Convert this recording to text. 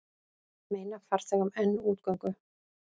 Meina farþegum enn útgöngu